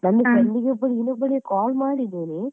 ನನ್ನ friend ಒಬ್ಬಳಿಗೆ ಇನ್ನೊಬ್ಬಳಿಗೆ call ಮಾಡಿದ್ದೇನೆ.